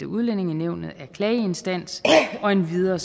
udlændingenævnet er klageinstans endvidere